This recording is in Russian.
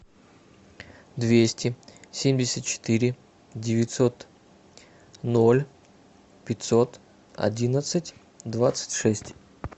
двести семьдесят четыре девятьсот ноль пятьсот одиннадцать двадцать шесть